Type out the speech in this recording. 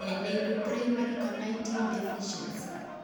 Nee neibu primary carnitine deficiency?